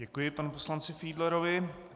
Děkuji panu poslanci Fiedlerovi.